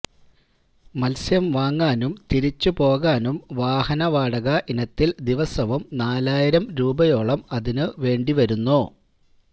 മത്സ്യം വാങ്ങാനും തിരിച്ചു പോകാനും വാഹന വാടക ഇനത്തില് ദിവസവും നാലായിരം രൂപയോളം അതിനു വേണ്ടി വരുന്നു